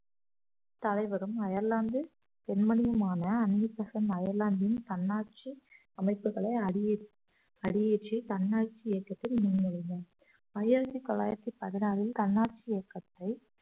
தலைவரும் அயர்லாந்து பெண்மணியுமான Annie Besant அயர்லாந்தின் தன்னாட்சி அமைப்புகளை அடியேற்~ அடியேற்றி தன்னாட்சி இயக்கத்தில் முன்மொழிந்தார் ஆயிரத்தி தொள்ளாயிரத்தி பதினாறில் தன்னாட்சி இயக்கத்தை